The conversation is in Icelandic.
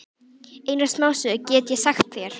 Eina smásögu get ég sagt þér.